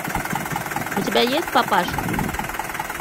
у тебя есть папаша